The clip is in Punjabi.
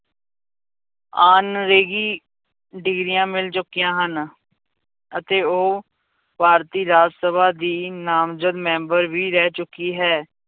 Honorary ਡਿਗਰੀਆਂ ਮਿਲ ਚੁੱਕੀਆਂ ਹਨ, ਅਤੇ ਉਹ ਭਾਰਤੀ ਰਾਜ ਸਭਾ ਦੀ ਨਾਮਜਦ ਮੈਂਬਰ ਵੀ ਰਹਿ ਚੁੱਕੀ ਹੈ।